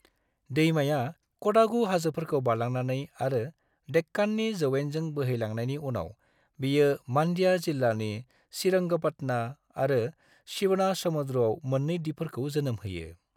दैमाया क'डागु हाजोफोरखौ बारलांनानै आरो देक्काननि जौयेनजों बोहैलांनायनि उनाव, बेयो मानड्या जिल्लानि श्रीरंगपटना आरो शिवनासमुद्र'आव मोननै दिपफोरखौ जोनोम होयो।